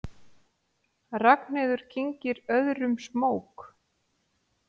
Ragnheiður kyngir öðrum smók.